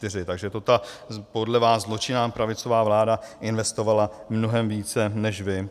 Takže to ta podle vás zločinná pravicová vláda investovala mnohem více než vy.